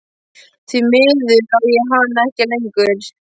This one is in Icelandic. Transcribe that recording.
Því miður á ég hana ekki lengur.